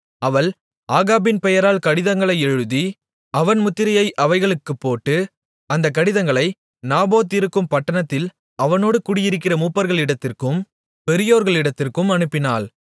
அவள் ஆகாபின் பெயரால் கடிதங்களை எழுதி அவன் முத்திரையை அவைகளுக்குப் போட்டு அந்த கடிதங்களை நாபோத் இருக்கும் பட்டணத்தில் அவனோடு குடியிருக்கிற மூப்பர்களிடத்திற்கும் பெரியோர்களிடத்திற்கும் அனுப்பினாள்